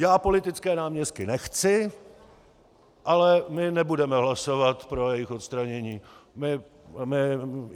Já politické náměstky nechci, ale my nebudeme hlasovat pro jejich odstranění.